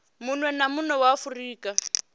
munwe na munwe wa afurika